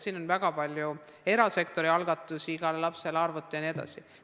On olnud väga palju erasektori algatusi, näiteks igale lapsele arvuti jne.